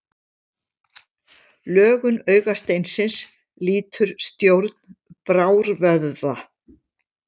Lögun augasteinsins lýtur stjórn brárvöðva.